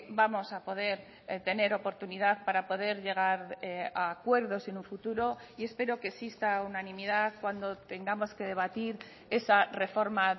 vamos a poder tener oportunidad para poder llegar a acuerdos en un futuro y espero que exista unanimidad cuando tengamos que debatir esa reforma